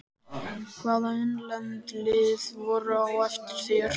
Hvaða innlend lið voru á eftir þér?